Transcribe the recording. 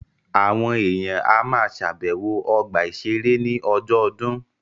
Àwọn èèyàn á ma ṣàbẹ̀wọ̀ ọgbà-ìṣeré ní ọjọ́ ọdún